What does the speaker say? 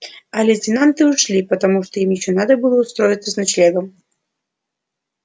а лейтенанты ушли потому что им ещё надо было устроиться с ночлегом